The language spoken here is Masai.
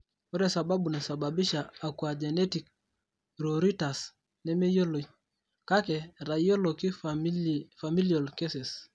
ore sababu naisababisha aquagenic pruritus nemeyioloi; kake, etayioloki familial cases.